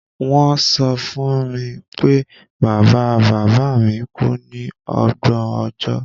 Won so fún mi pé bàbá-bàbámi ku ni ògbó ọjọ́